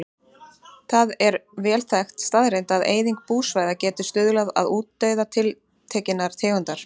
Það er vel þekkt staðreynd að eyðing búsvæða getur stuðlað að útdauða tiltekinnar tegundar.